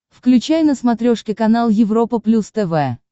включай на смотрешке канал европа плюс тв